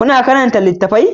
kuna karanta littattafai?